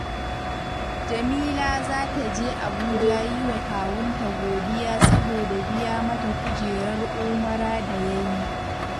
Jamila za ta je Abuja yi wa kawunta godiya saboda biya mata kujerar umara da ya yi